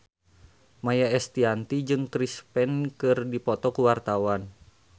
Maia Estianty jeung Chris Pane keur dipoto ku wartawan